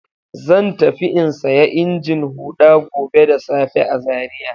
Zan tafi in saya injin huɗa gobe da safe a Zariya.